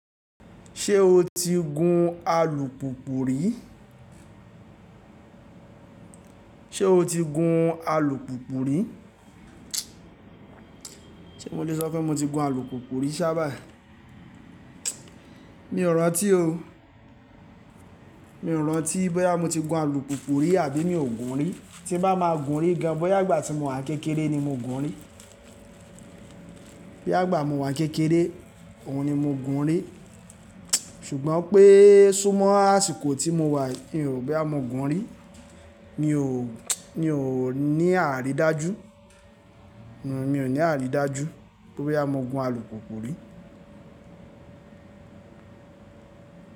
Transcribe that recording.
Ṣé o ti gun alùpùpù rí? Sé mo lo sọ pé mo ti gun alukuku rí sá báyìí? Mi ò rántí o. Mi ò rántí bóyá mo ti gun alùpùpù rí àbí mi ò gun rí. Tí bá máa gun rí gan, bóyá ìgbà tí mo wà kékeré ni mo gun rí. Bí ìgbà mo wà kékeré, òun ni mo gun rí. Ṣùgbọ́n pé, súmọ́ àsìkò tí mo wà yìí, mi ò rọ bóyá mo gun rí. Mi ò ní àrídájú. Mi ò ní àrídájú bóyá mo gun alukuku rí.